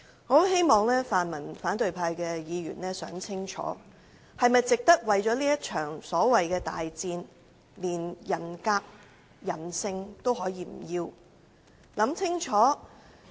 我很希望泛民反對派議員想清楚，為了這場所謂的大戰，連人格、人性也不要是否值得？